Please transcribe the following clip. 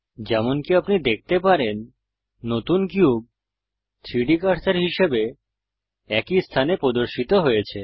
যেমনকি আপনি দেখতে পারেন নতুন কিউব 3ডি কার্সার হিসাবে একই স্থানে প্রদর্শিত হয়েছে